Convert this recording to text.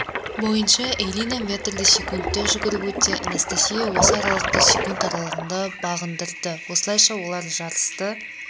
бойынша элина метрді секунда жүгіріп өтсе анастасия осы аралықты секунд аралығында бағындырды осылайша олар жарысты